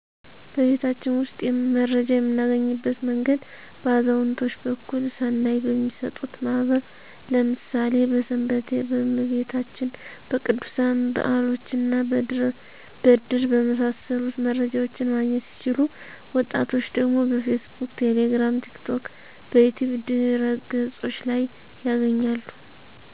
በቤታችን ውስጥ መረጃ የምናገኝበት መንገድ በአዛውንቶች በኩል ስናይ በሚጠጡት ማህበር ለምሣሌ በስንበቴ፣ በመቤታችን፣ በቅዱሣን በዓሎችና በድር በመሣሰሉት መረጃዎችን ማግኘት ሲችሉ ወጣቶች ደግሞ በፌስቡክ፣ ቴሌግራም፣ ቲክቶክ፣ በዩትዩብ ድህረ ገፆች ላይ ያገኛሉ።